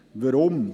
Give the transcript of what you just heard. Weshalb dies?